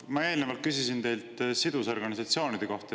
Ma eelnevalt küsisin teilt sidusorganisatsioonide kohta.